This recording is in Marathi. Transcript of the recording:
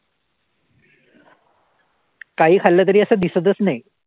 काहीही खाल्लं तरी असं दिसतच नाही.